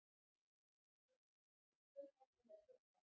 Fréttamaður: Hvenær ætlarðu að gera það?